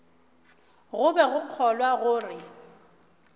go be go kgolwa gore